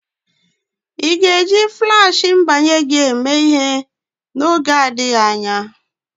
Ị ga-eji Flashị mbanye gị eme ihe n'oge adịghị anya?